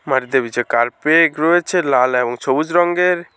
মাটিতে বিছা কার্পেগ রয়েছ লাল এবং ছোবুজ রঙ্গের ।